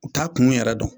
U t'a kun yɛrɛ dɔn